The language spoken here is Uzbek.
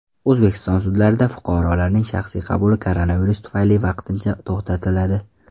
O‘zbekiston sudlarida fuqarolarning shaxsiy qabuli koronavirus tufayli vaqtincha to‘xtatiladi.